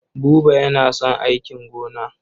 Buba yana son aikin gona.